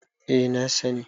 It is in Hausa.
eh na sani